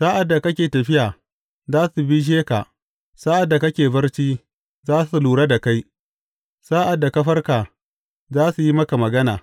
Sa’ad da kake tafiya, za su bishe ka; sa’ad da kake barci, za su lura da kai; sa’ad da ka farka, za su yi maka magana.